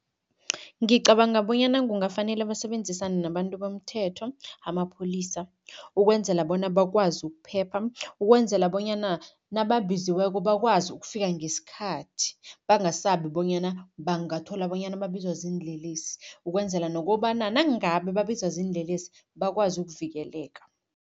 Ngicabanga bonyana kungafanele basebenzisane nabantu bomthetho amapholisa, ukwenzela bona bakwazi ukuphepha, ukwenzela bonyana nababiziweko bakwazi ukufika ngesikhathi, bangasabi bonyana bangathola bonyana babizwa ziinlelesi, ukwenzela nokobana nangabe babizwa ziinlelesi, bakwazi ukuvikeleka.